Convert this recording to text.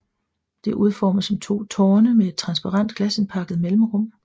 Det er udformet som to tårne med et transparent glasindpakket mellemrum